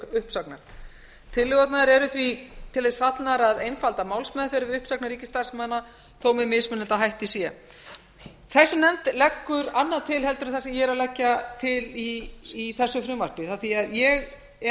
uppsagnar tillögurnar eru því til þess fallnar að einfalda málsmeðferð við uppsagnir ríkisstarfsmanna þó með mismunandi hætti sé þessi nefnd leggur annað til en það sem ég er að leggja til í þessu frumvarpi af því að ég er